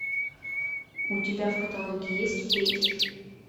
у тебя в каталоге есть фетиш